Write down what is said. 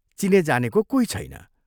चिने जानेको कोही छैन।